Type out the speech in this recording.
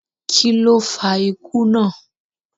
Kí ló fa ikú náà?